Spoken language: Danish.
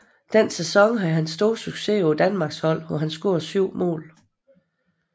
Den sæson havde han stor succes på Danmarksserieholdet hvor han scorede 7 mål